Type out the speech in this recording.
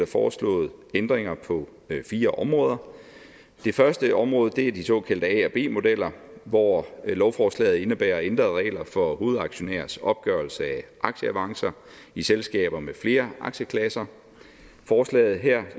foreslået ændringer på fire områder det første område er de såkaldte a og b modeller hvor lovforslaget indebærer ændrede regler for hovedaktionærers opgørelse af aktieavancer i selskaber med flere aktieklasser forslaget her